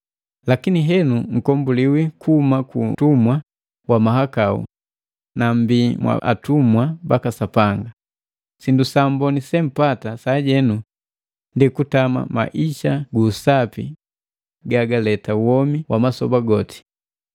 Lakini henu mkombuliwi kuhumu ku utumwa wa mahakau na mmbi mwa atumwa baka Sapanga, sindu samboni se mpata sajenu ndi kutama maisa gu usapi gagaleta womi wa masoba goti.